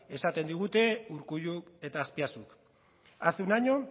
esaten digute urkulluk eta azpiazuk hace un año